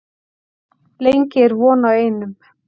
Lengi er von á einum